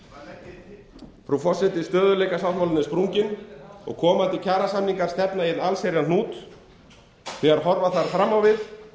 til frú forseti stöðugleikasáttmálinn er sprunginn og komandi kjarasamningar stefna í einn allsherjarhnút þegar horfa þarf fram á við